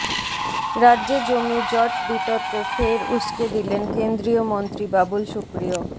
রাজ্যে জমি জট বিতর্ক ফের উসকে দিলেন কেন্দ্রীয় মন্ত্রী বাবুল সুপ্রিয়